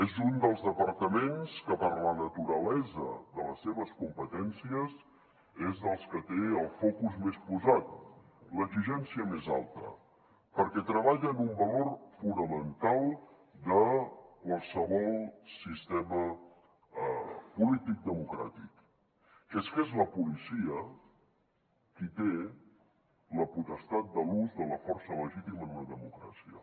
és un dels departaments que per la naturalesa de les seves competències és dels que té el focus més posat l’exigència més alta perquè treballa amb un valor fonamental de qualsevol sistema polític democràtic que és que és la policia qui té la potestat de l’ús de la força legítima en una democràcia